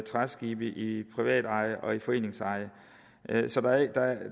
træskibe i privateje og foreningseje så der